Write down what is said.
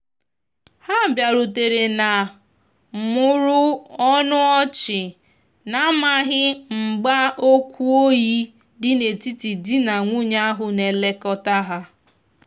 ha biarutere na mụrụ ọnụ ọchina amaghi mgba okwu oyi di na etiti di na nwunye ahu na elekota ha